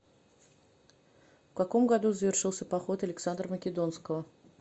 в каком году завершился поход александра македонского